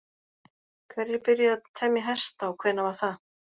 Hverjir byrjuðu að temja hesta og hvenær var það?